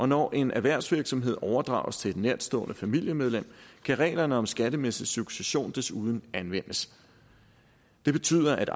når en erhvervsvirksomhed overdrages til et nærtstående familiemedlem kan reglerne om skattemæssig succession desuden anvendes det betyder at